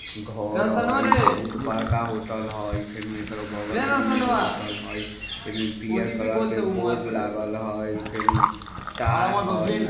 घर हेय बहुत बड़का होटल हेय फेनू एकड़ बगल मे भी होटल हई पियर कलर के बोर्ड लागल हइ फेनु टाइल हेय ।